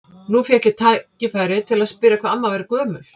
Nú fékk ég tækifæri til að spyrja hvað amma væri gömul.